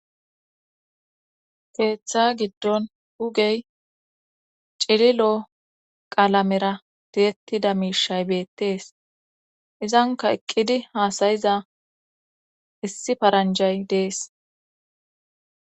Keeththa giddon hugey cililoo qalamera tiyettida miishshay beettees izankka eqqidi haasayiza issi paranjay dees.